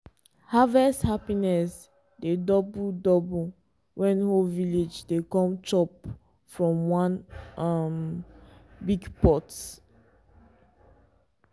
harvest happiness dey double double when whole village dey come chop from one um big pot.